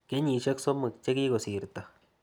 Kenyisyek somok che kikosirto.